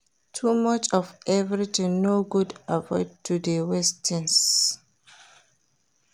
Too much of everything no good avoid to de waste things